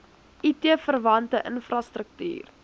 it verwante infrastruktuur